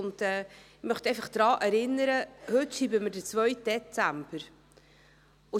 Ich möchte daran erinnern, dass wir heute den 2. Dezember schreiben.